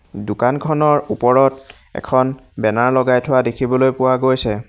দোকানখনৰ ওপৰত এখন বেনাৰ লগাই থোৱা দেখিবলৈ পোৱা গৈছে।